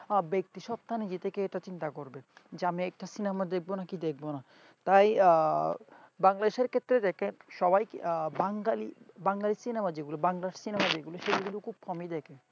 ব্যক্তি সত্তা এটা নিজে থেকে চিন্তা করবে যে আমি এটা cinema দেখব কি দেখব না। তাই বাংলাদেশের ক্ষেত্রে দেখেন সবাই বাঙ্গালী বাংলাদেশের cinema যেগুলো বাংলার cinema যেগুলো সেগুলো খুব কমই দেখে।